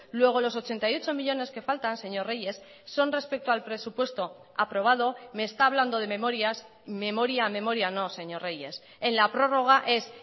luego los ochenta y ocho millónes que faltan señor reyes son respecto al presupuesto aprobado me está hablando de memorias memoria memoria no señor reyes en la prórroga es